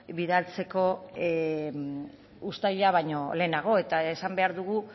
bidaltzeko uztaila baino lehenago eta esan behar dugu